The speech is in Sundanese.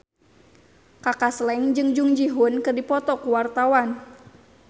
Kaka Slank jeung Jung Ji Hoon keur dipoto ku wartawan